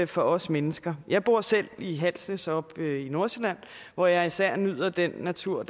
for os mennesker jeg bor selv i halsnæs oppe i nordsjælland hvor jeg især nyder den natur